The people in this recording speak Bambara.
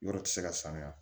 Yɔrɔ tɛ se ka sanuya